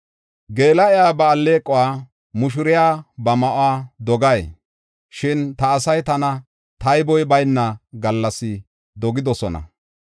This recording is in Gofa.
Geela7iya ba alleequwa, mushuriya ba ma7uwa dogay? Shin ta asay tana tayboy bayna gallas dogidosona.